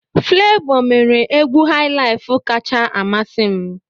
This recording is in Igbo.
Flevoo mere egwu highlife kacha amasị m.